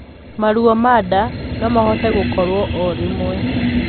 Maruo ma ndaa nomahote gũkorwo o rimwe